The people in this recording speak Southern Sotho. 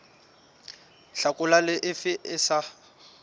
hlakola le efe e sa